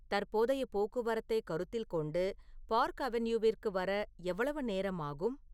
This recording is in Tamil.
தற்போதைய போக்குவரத்தை கருத்தில் கொண்டு பார்க் அவென்யூவிற்கு வர எவ்வளவு நேரம் ஆகும்